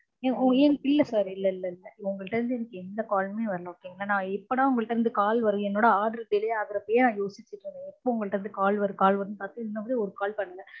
உம் இல்ல sir இல்லஇல்ல இல்ல உங்க கிட்ட இருந்து எனக்கு எந்த call மே வரல okay ங்கலா நான் எப்படா உங்க கிட்ட இருந்து call வரலயே என்னொட order delay ஆகுறப்பயே நான் யோசிச்சுருக்கனும் எப்பொ உங்க கிட்ட இருந்து call வரும் call வரும்னு பார்த்து இன்ன வர call வரல